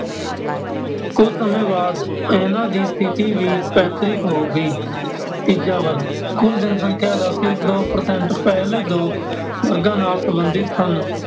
ਕੁੱਝ ਸਮੇਂ ਬਾਅਦ ਇਹਨਾਂ ਦੀ ਸਥਿਤੀ ਵੀ ਪੈਤ੍ਰਿਕ ਹੋ ਗਈ । ਤੀਜਾ ਵਰਗ, ਕੁੱਲ ਜਨਸੰਖਿਆ ਦਾ ਸਿਰਫ਼ ਦੋ percent ਪਹਿਲੇ ਦੋ ਵਰਗਾਂ ਨਾਲ ਸੰਬੰਧਿਤ ਸਨ